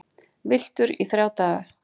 Villtur í þrjá daga